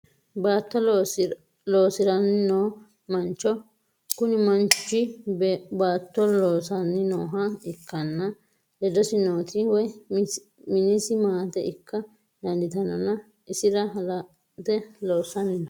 Baato loosiranni noo manicho kuni manichi baato laasanni nooha ikkanna ledosi nooti woyi minisi maate ikka danditanonna isira halante loosanni no